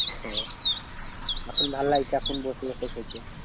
হ্যাঁ এখন ভালো লাগছে এখন বসে বসে খেতে।